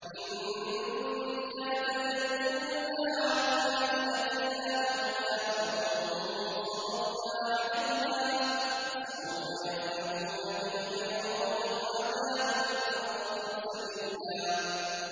إِن كَادَ لَيُضِلُّنَا عَنْ آلِهَتِنَا لَوْلَا أَن صَبَرْنَا عَلَيْهَا ۚ وَسَوْفَ يَعْلَمُونَ حِينَ يَرَوْنَ الْعَذَابَ مَنْ أَضَلُّ سَبِيلًا